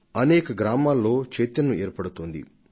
అనేక గ్రామాలలో ఇప్పుడు చైతన్యవ కనుపిస్తోంది